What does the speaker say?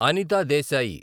Anitha Desai